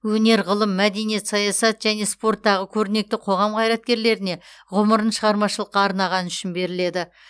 өнер ғылым мәдениет саясат және спорттағы көрнекті қоғам қайраткерлеріне ғұмырын шығармашылыққа арнағаны үшін беріледі